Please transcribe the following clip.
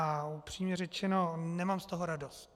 A upřímně řečeno, nemám z toho radost.